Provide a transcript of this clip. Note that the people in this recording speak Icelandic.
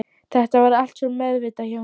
Þetta var allt svo meðvitað hjá henni.